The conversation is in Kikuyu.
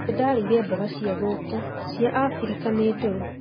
Nĩ ndarĩire mboga cĩa gũkũ, cia Abirika, nĩ ndũrũ